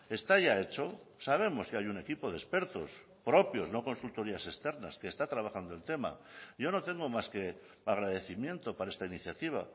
está ya hecho sabemos que hay un equipo de expertos propios no consultorías externas que está trabajando el tema yo no tengo más que agradecimiento para esta iniciativa